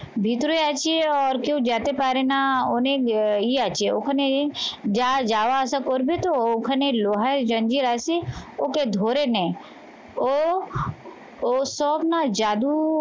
ভিতরে আছে আর কেউ যেতে পারে না, অনেক ইয়ে আছে ওখানে যা যাওয়া আসা করবে তো ওখানে লোহার আছে ওকে ধরে নেয়। ও ও সব না জাদু